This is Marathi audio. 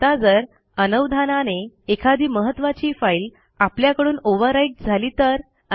आता जर अनवधानाने एखादी महत्त्वाची फाईल आपल्याकडून ओव्हरराईट झाली तर